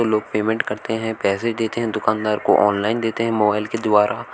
लोग पेमेंट करते हैं पैसे देते हैं दुकानदार को ऑनलाइन देते हैं मोबाइल के द्वारा।